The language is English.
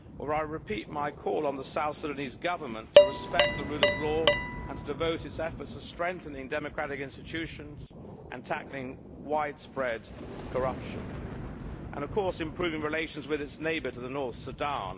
I repeat my call on the South Sudanese Government to respect the rule of law and to devote its efforts to strengthening democratic institutions, tackling widespread corruption and, of course, improving relations with its neighbour to the north, Sudan.